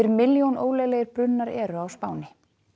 milljón ólöglegir brunnar eru á Spáni